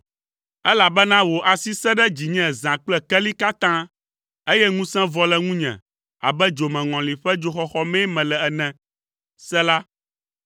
Elabena wò asi sẽ ɖe dzinye zã kple keli katã, eye ŋusẽ vɔ le ŋunye abe dzomeŋɔli ƒe dzoxɔxɔ mee mele ene. Sela